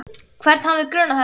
Hvern hefði grunað þetta?